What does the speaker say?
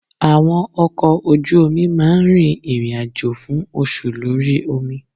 Àwọn ọkọ̀ ojú omi máa ń rin ìrìn àjò fún oṣù lórí omi.